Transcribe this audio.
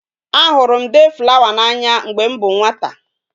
A huru m day flower na anya mgbe m bu nwata